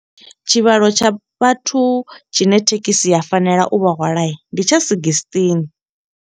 Tshivhalo tsha vhathu tshine thekhisi ya fanela u vha hwala, ndi tsha sigistini.